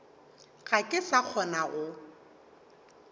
ga ke sa kgona go